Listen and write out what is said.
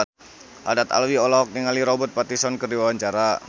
Haddad Alwi olohok ningali Robert Pattinson keur diwawancara